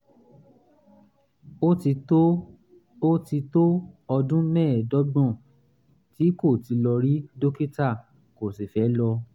ó ti tó ó ti tó ọdún mẹ́ẹ̀ẹ́dọ́gbọ̀n tí kò ti lọ rí dókítà kò sì fẹ́ lọ